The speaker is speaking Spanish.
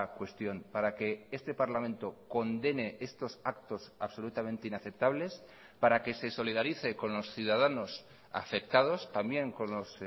cuestión para que este parlamento condene estos actos absolutamente inaceptables para que se solidarice con los ciudadanos afectados también con los